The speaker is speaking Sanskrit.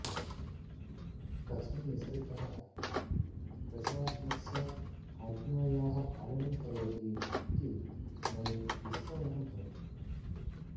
कथं निसर्गः प्रशासनस्य आज्ञायाः पालनं करोति इति मयि विस्मयः भवति